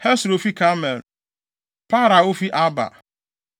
Hesro a ofi Karmel; Paarai a ofi Arba;